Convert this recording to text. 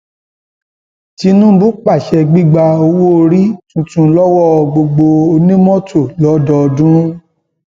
tinúbú pàṣẹ gbígba owóorí tuntun lọwọ gbogbo onímọtò lọdọọdún